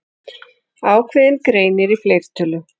Ákveðinn greinir í fleirtölu.